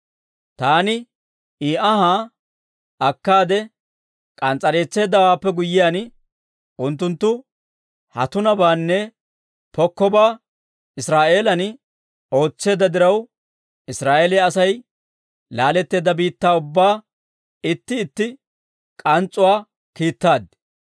Taani izi anhaa akkaade k'ans's'ereetseeddawaappe guyyiyaan, unttunttu ha tunabaanne pokkobaa Israa'eeliyaan ootseedda diraw, Israa'eeliyaa Asay laatteedda biittaa ubbaa itti itti k'ans's'uwaa yeddaaddi.